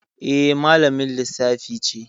Eh, malamin Lissafi ce